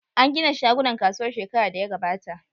An gina shagunan kasuwar shekara da ya gabata.